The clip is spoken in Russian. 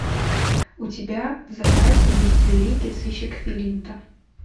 у тебя в запасе есть великий сыщик филинта